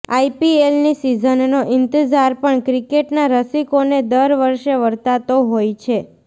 આઇપીએલની સિઝનનો ઇંતઝાર પણ ક્રિકેટના રસિકોને દર વર્ષે વર્તાતો હોય છે